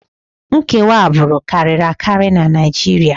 Nkewa agbụrụ karịrị akarị na Naịjirịa